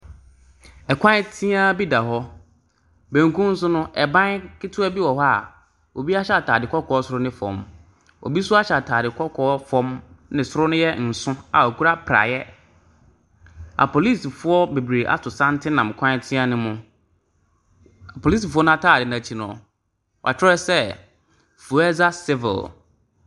Kwan teaa bi da hɔ. Benkum so no, ban ketewa bi wɔ hɔ a obi ahyɛ atade kɔkɔɔ soro ne fam. Obi nso ahyɛ atadeɛ kɔkɔɔ ne soro no yɛ nso a ɔkura praeɛ. Apolisifoɔ bebree ato santene nam kwan teaa no mu. Apolisifoɔ no atadeɛ no akyi no, wɔatwerɛ sɛ civil.